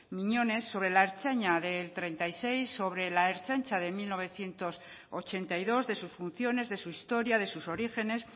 miñones sobre la ertzaintza del treinta y seis sobre la ertzaintza de mil novecientos ochenta y dos de sus funciones de su historia de sus orígenes